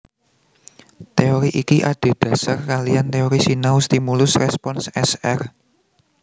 Teori iki adhédhasar kaliyan teori sinau stimulus respons S R